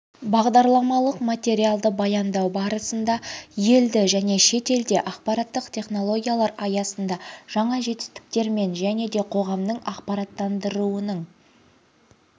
бағдарламалық материалды баяндау барысында елді және шетелде ақпараттық технологиялар аясынды жаңа жетістіктермен және де қоғамның ақпараттандыруының